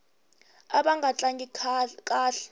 ava nga tlangi kahle